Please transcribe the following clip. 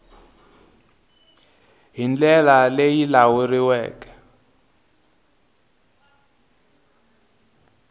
hi ndlela leyi yi lawuleriweke